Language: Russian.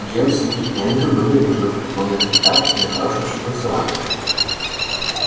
джеймс и эндрю были уже в преклонных летах и на хорошем счету в саванне